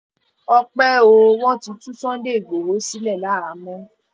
ọpẹ́ o wọ́n ti tú sunday igbodò sílẹ̀ láhàámọ̀